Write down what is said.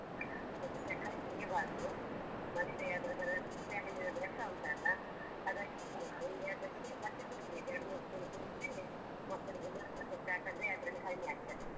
ಅದಕ್ಕೆ ಸಕ್ಕರೆ ಸುರಿಬಾರ್ದು ಮತ್ತೆ ಅದ್ರದ್ದೆಲ್ಲ ಲಿಂಬೆ ಹಣ್ಣಿನದ್ ರಸ ಉಂಟಲ್ಲ ಅದಕ್ಕೆ ಹಿಂಡ್ಬೇಕು ಹಿಂಡಿ ಅದಕ್ಕೆ ಮತ್ತೆ ಕುಡಿಬೇಕು. ಎರಡು ಮೂರ್ ಸಲ ಕುಡಿದ್ರೆ ಮಕ್ಕಳಿಗೆ loose motion ಆದ್ರೆ ಅದ್ರಲ್ಲಿ ಕಡಿಮೆ ಆಗ್ತದೆ.